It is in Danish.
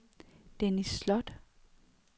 Dennis Slot